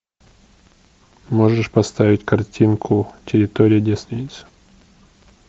можешь поставить картинку территория девственниц